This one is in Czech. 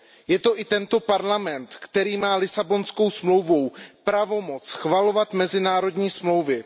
Je to i Parlament, který má Lisabonskou smlouvou pravomoc schvalovat mezinárodní dohody.